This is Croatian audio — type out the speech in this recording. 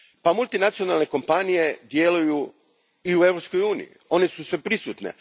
Multinacionalne kompanije djeluju i u Europskoj uniji, one su sveprisutne.